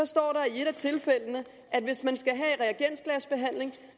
står der i et af tilfældene at hvis man skal have reagensglasbehandling